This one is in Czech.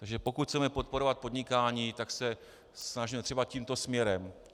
Takže pokud chceme podporovat podnikání, tak se snažme třeba tímto směrem.